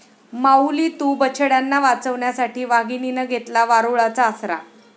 माऊली तू...,बछड्यांना वाचवण्यासाठी वाघिणीनं घेतला वारूळाचा आसरा!